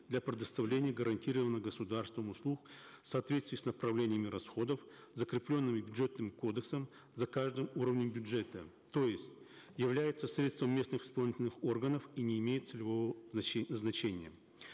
для предоставления гарантировнных государством услуг в соответствии с направлениями расходов закрепленными бюджетным кодексом за каждым уровнем бюджета то есть являются средством местных исполнительных органов и не имеют целевого назначения